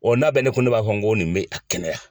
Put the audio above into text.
Ɔn n'a bɛ ne kun, ne b'a fɔ n go nin bi a kɛnɛya.